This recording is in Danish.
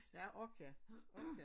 Ja ork ja. Ork ja